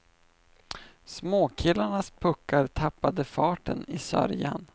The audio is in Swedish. Småkillarnas puckar tappade farten i sörjan.